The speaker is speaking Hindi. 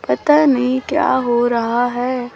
पता नहीं क्या हो रहा है।